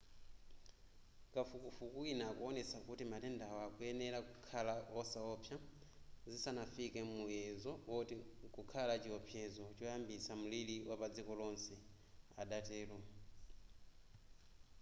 kafukufuku wina akuwonetsa kuti matendawa akuyenera kukhala osawopsa zisanafike muyezo oti mkukhala chiopsezo choyambitsa mliri wapadziko lonse adatero